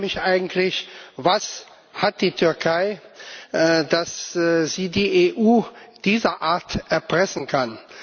Ich frage mich eigentlich Was hat die Türkei, dass sie die EU dieserart erpressen kann?